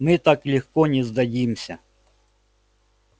мы так легко не сдадимся